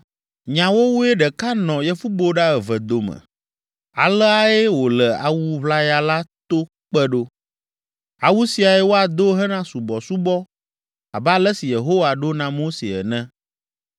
Nyawowoe ɖeka nɔ yevuboɖa eve dome; aleae wòle awu ʋlaya la to kpe ɖo. Awu siae woado hena subɔsubɔ abe ale si Yehowa ɖo na Mose ene.